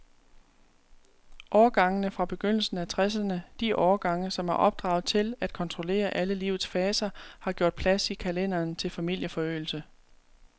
Årgangene fra begyndelsen af tresserne, de årgange, som er opdraget til at kontrollere alle livets faser, har gjort plads i kalenderen til familieforøgelse.